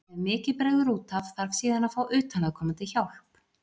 Ef mikið bregður út af þarf síðan að fá utanaðkomandi hjálp.